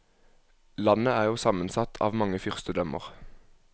Landet er jo sammensatt av mange fyrstedømmer.